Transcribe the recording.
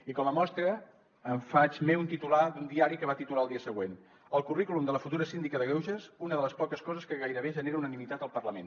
i com a mostra em faig meu un titular d’un diari que va titular el dia següent el currículum de la futura síndica de greuges una de les poques coses que gairebé genera unanimitat al parlament